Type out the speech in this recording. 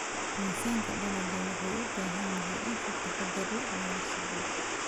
Miisaanka dalagga wuxuu u baahan yahay in si taxadar leh loola socdo.